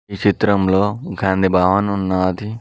ఈ చిత్రంలో గాంధీ భావన్ ఉన్నాది.